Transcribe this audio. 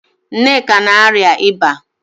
Nneka na-arịa ịba